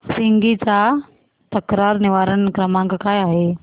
Swiggy चा तक्रार निवारण क्रमांक काय आहे